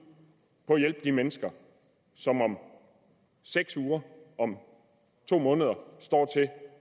på hjælper de mennesker som om seks uger om to måneder står til